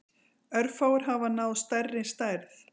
Örfáir hafa náð stærri stærð.